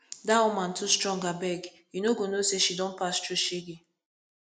dat woman too strong abeg you no go know say she don pass through shege